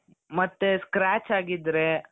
ಮತ್ತೆ scratch ಆಗಿದ್ರೆ